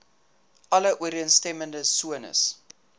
alle ooreenstemmende sones